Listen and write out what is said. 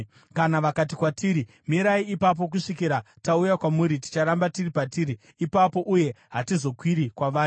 Kana vakati kwatiri, ‘Mirai ipapo kusvikira tauya kwamuri,’ ticharamba tiri patiri ipapo uye hatizokwiri kwavari.